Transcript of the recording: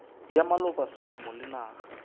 ya maloba selemo le naga